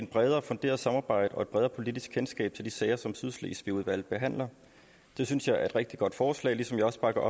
bredere funderet samarbejde og et bredere politisk kendskab til de sager som sydslesvigudvalget behandler det synes jeg er et rigtig godt forslag ligesom jeg også bakker